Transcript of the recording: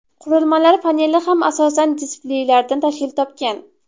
Qurilmalar paneli ham asosan displeylardan tashkil topgan.